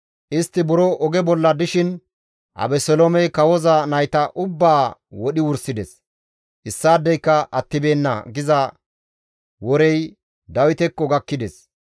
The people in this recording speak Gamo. Istti buro oge bolla dishin, «Abeseloomey kawoza nayta ubbaa wodhi wursides; issaadeyka attibeenna» giza worey Dawitekko gakkides.